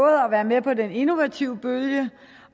at være med på den innovative bølge